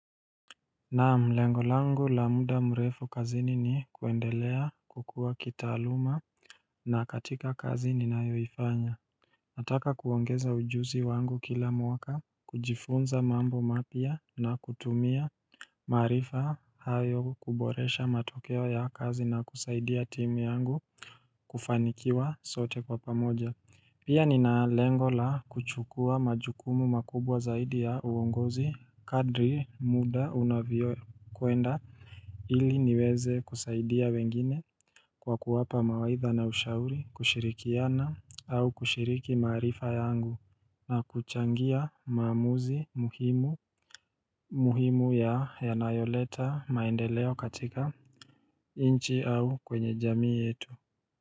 Naam, lengo langu la muda mrefu kazini ni kuendelea kukua kitaaluma na katika kazi ni nayoifanya. Nataka kuongeza ujuzi wangu kila mwaka, kujifunza mambo mapya na kutumia maarifa hayo kuboresha matokeo ya kazi na kusaidia timu yangu kufanikiwa sote kwa pamoja. Pia ni na lengola kuchukua majukumu makubwa zaidi ya uongozi kadri muda unavyokuenda ili niweze kusaidia wengine kwa kuwapa mawaitha na ushauri kushirikiana au kushiriki maarifa yangu na kuchangia maamuzi muhimu muhimu ya yanayoleta maendeleo katika nchi au kwenye jamii yetu.